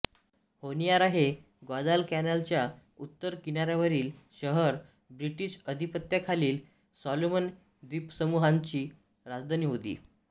Honiara हे ग्वादालकॅनालच्या उत्तर किनाऱ्यावरील शहर ब्रिटिश आधिपत्याखालील सॉलोमन द्वीपसमूहांची राजधानी होती